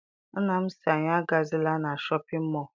Nna m sị anyị agazila na Shọpịn mọọ.